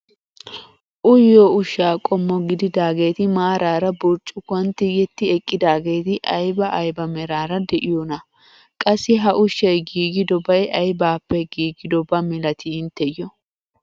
Uyiyoo ushshaa qommo gididaageti maarara burccukuwaan tigetti eqqidaageti ayba ayba meraara de'iyoonaa? qassi ha ushshay giigidobay aybaappe giigidoba milatii intteyoo?